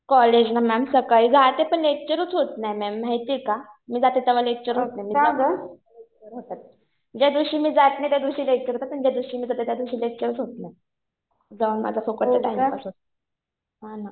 कॉलेजना ma'am सकाळी जाते पण लेक्चरच होत नाही मॅम माहितीये का. मी जाते तेव्हा लेक्चर होत नाही. ज्या दिवशी मी जात नाही त्या दिवशी लेक्चर होतं. पण ज्या दिवशी मी जाते त्या दिवशी लेक्चरच होत नाही. जाऊन माझा फुकटचा टाईमपास होतो. हा ना.